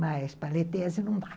Mas para ler tese não dá.